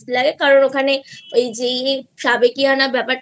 লাগে কারন ওই দিকে সাবেকিয়ানা ব্যাপার টা